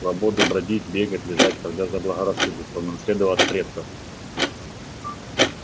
свободу бродить бегать лежать когда заблагорассудится он унаследовал от предков